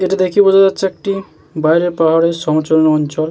এটা দেখে বোঝা যাচ্ছে একটি বাইরে পাহাড়ের সমচলের অঞ্চল।